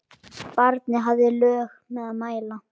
Barnið hafði lög að mæla.